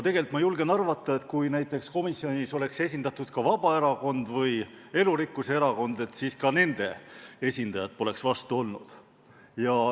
Tegelikult ma julgen arvata, et kui komisjonis oleks olnud esindatud näiteks Vabaerakond või Elurikkuse Erakond, siis poleks ka nende esindajad vastu olnud.